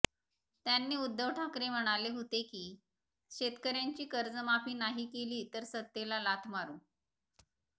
त्यांनी उद्धव ठाकरे म्हणाले होते की शेतकऱ्यांची कर्जमाफी नाही केली तर सत्तेला लाथ मारू